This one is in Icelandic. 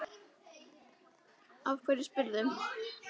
Af hverju spyrðu?